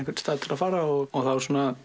stað til að fara á og